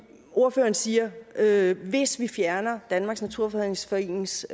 ordføreren siger at hvis vi fjerner danmarks naturfredningsforenings